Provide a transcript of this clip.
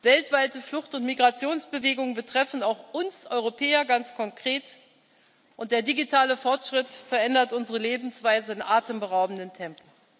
weltweite Flucht und Migrationsbewegungen betreffen auch uns Europäer ganz konkret, und der digitale Fortschritt verändert unsere Lebensweise in atemberaubendem Tempo.